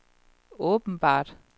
åbenbart